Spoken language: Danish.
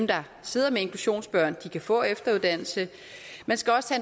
der sidder med inklusionsbørn kan få efteruddannelse man skal også